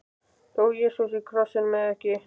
Dó Jesú á krossinum eða ekki?